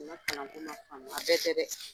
Nin ka kalan ko ma famu . A bɛɛ tɛ dɛ !